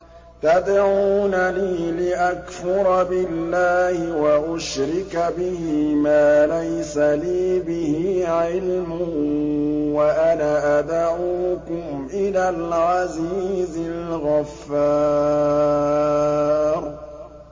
تَدْعُونَنِي لِأَكْفُرَ بِاللَّهِ وَأُشْرِكَ بِهِ مَا لَيْسَ لِي بِهِ عِلْمٌ وَأَنَا أَدْعُوكُمْ إِلَى الْعَزِيزِ الْغَفَّارِ